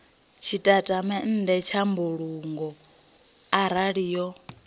tshitatamennde tsha mbulungo arali yo